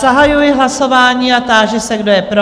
Zahajuji hlasování a táži se, kdo je pro?